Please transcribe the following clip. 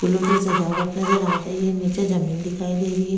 पूलो से सजावट नजर आ रही है नीचे जमीन लगाए दे रही है।